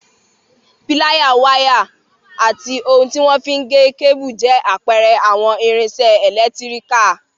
Píláyà, wáyà, ati ohun tí wọ́n fi n gé kébù, jẹ́ àpẹẹrẹ àwọn irinṣẹ́ ẹlẹtíríkà